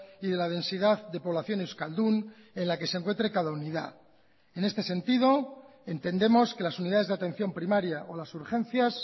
y de la densidad de población euskaldun en la que se encuentre cada unidad en este sentido entendemos que las unidades de atención primaria o las urgencias